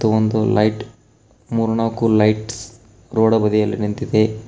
ಮತ್ತು ಒಂದ ಲೈಟ್ ಮತ್ತು ಮೂರ್ನಾಲ್ಕು ಲೈಟ್ಸ್ ರೋಡ ಬದಿಯಲ್ಲಿ ನಿಂತಿದೆ.